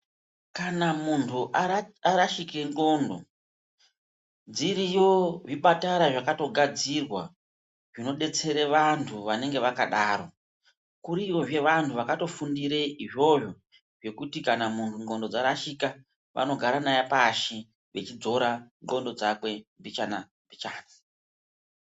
Kana muntu arashike ndlondo zviriyo zvipatara zvakagadzirwa zvinodetsera antu vanenge vakadaro kuriyo zveantu akatofundire izvozvo zvekuti kana muntu xondlo dzarashika vanogara naye pashi vechidzora xondlo dzake mbichana-mbichana.